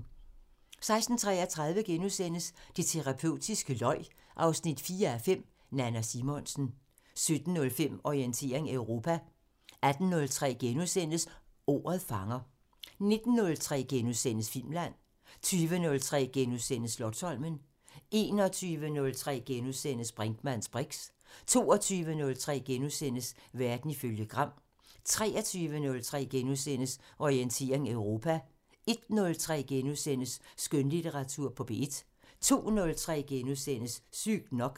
16:33: Det terapeutiske løg 4:5 – Nanna Simonsen * 17:05: Orientering Europa 18:03: Ordet fanger * 19:03: Filmland * 20:03: Slotsholmen * 21:03: Brinkmanns briks * 22:03: Verden ifølge Gram * 23:03: Orientering Europa * 01:03: Skønlitteratur på P1 * 02:03: Sygt nok *